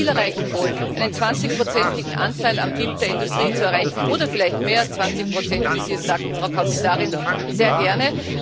Wenn wir das Ziel erreichen wollen, einen 20 igen Anteil am BIP der Industrie zu erreichen oder vielleicht mehr als 20 wie Sie es sagten, Frau Kommissarin sehr gerne.